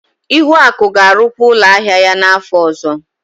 Ihuaku ga-arụkwa ụlọ ahịa ya n'afọ ọzọ.